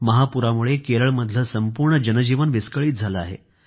महापुरामुळे केरळमधलं संपूर्ण जनजीवनच विस्कळीत झालं आहे